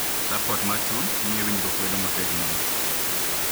Suport mar chuny miyo winjruok bedo motegno